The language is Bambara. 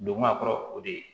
Donko a kɔrɔ o de ye